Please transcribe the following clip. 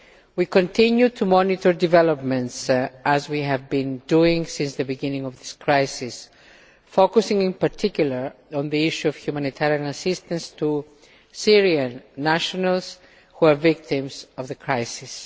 We continue to monitor developments as we have been doing since the beginning of the crisis, focusing in particular on the issue of humanitarian assistance to Syrian nationals who are victims of the crisis.